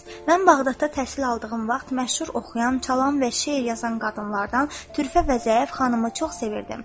Mən Bağdadda təhsil aldığım vaxt məşhur oxuyan, çalan və şeir yazan qadınlardan Türfə və Zəif xanımı çox sevirdim.